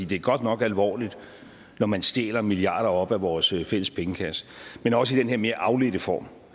det er godt nok alvorligt når man stjæler milliarder af kroner op af vores fælles pengekasse men også i den her mere afledte form